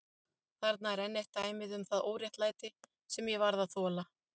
Þarna er enn eitt dæmið um það óréttlæti sem ég varð að þola.